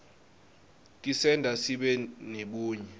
tisenta sibe nebunye